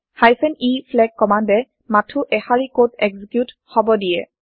e flag কমান্দে মাথো এশাৰি কড এক্সিকিউত হব দিয়ে